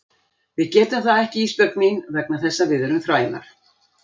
Við getum það ekki Ísbjörg mín vegna þess að við erum þrælar.